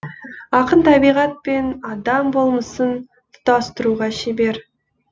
ақын табиғат пен адам болмысын тұтастыруға шебер